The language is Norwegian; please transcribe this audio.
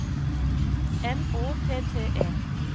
M Å T T E